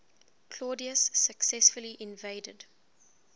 claudius successfully invaded